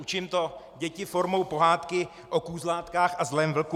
Učím to děti formou pohádky o kůzlátkách a zlém vlku.